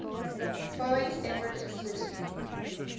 boeing's everett facility